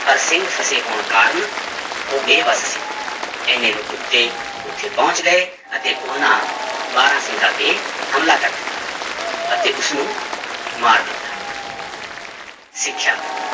ਪਰ ਸਿੰਗ ਫਸੇ ਹੋਣ ਕਾਰਨ ਉਹ ਬੇਬਸ ਸੀ, ਇੰਨੇ ਨੂੰ ਕੁੱਤੇ ਉੱਥੇ ਪਹੁੰਚ ਗਏ ਅਤੇ ਉਹਨਾਂ ਬਾਰਾਂਸਿੰਗਾ ਤੇ ਹਮਲਾ ਕਰ ਦਿੱਤਾ ਅਤੇ ਉਸਨੂੰ ਮਾਰ ਦਿੱਤਾ ਸਿੱਖਿਆ